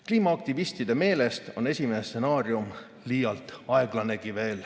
Kliimaaktivistide meelest on esimene stsenaarium veel liialt aeglanegi.